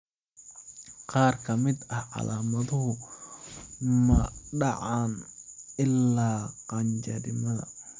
Qaar ka mid ah, calaamaduhu ma dhacaan ilaa qaangaarnimada.